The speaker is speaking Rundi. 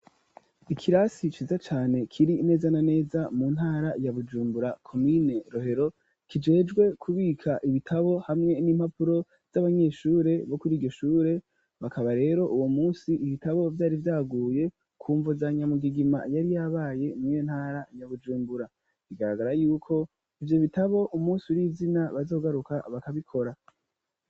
ikirasi ciza cane kiri neza na neza mu ntara ya Bujumbura komine Rohero, kijejwe kubika ibitabo hamwe n'impapuro z'abanyeshure bo kuri iryo shure, bakaba rero uwo munsi ibitabo vyari vyaguye kumvo za nyamugigima yari yabaye muri iyo ntara ya Bujumbura; bigaragara yuko ivyo bitabo umunsi uri izina bazogaruka bakabikora.